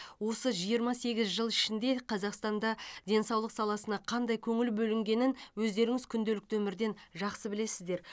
осы жиырма сегіз жыл ішінде қазақстанда денсаулық саласына қандай көңіл бөлінгенін өздеріңіз күнделікті өмірден жақсы білесіздер